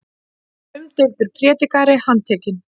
Umdeildur prédikari handtekinn